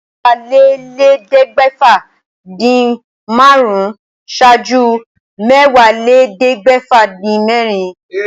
Mẹ́wàálélẹ́ẹ̀ẹ́dẹ́gbẹ́fà-dín-márùn-ún ṣáájú Mẹ́wàálélẹ́ẹ̀ẹ́dẹ́gbẹ́fà-dín-mẹ́rin.